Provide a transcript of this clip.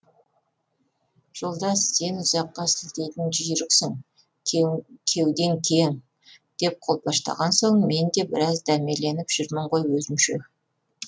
жолдас сен ұзаққа сілтейтін жүйріксің кеудең кең деп қолпаштаған соң мен де біраз дәмеленіп жүрмін ғой өзімше